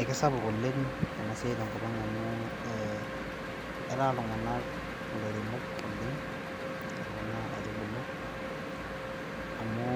Ekisapuk oleng ena siai tenkopang amu etaa iltung'anak ilairemok oleng oo kuna aitubulu amu